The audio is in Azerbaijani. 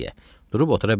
Durub otura bilmədi.